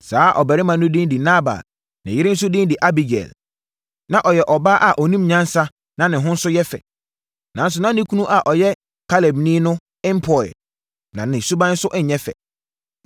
Saa ɔbarima no din de Nabal. Ne yere nso din de Abigail. Na ɔyɛ ɔbaa a ɔnim nyansa na ne ho nso yɛ fɛ. Nanso, na ne kunu a ɔyɛ Kalebni no mpɔeɛ, na ne suban nso nyɛ fɛ.